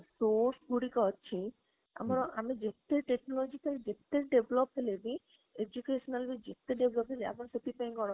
source ଗୁଡିକକ ଅଛି ଆମ ଆମେ ଯେତେ technological ଯେତେ develop ହେଲେ ବି educationally ଯେତେ develop ହେଲେ ଆମର ସେଥିପାଇଁ କଣ